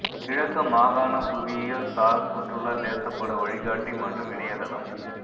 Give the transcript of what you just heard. கிழக்கு மாகாண புவியியல் சார் சுற்றுலா தேசப்பட வழிகாட்டி மற்றும் இணையத்தளம்